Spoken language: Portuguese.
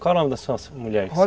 Qual o nome da sua mulher?